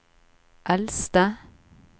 eldste